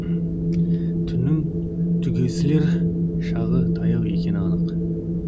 түннің түгесілер шағы таяу екені анық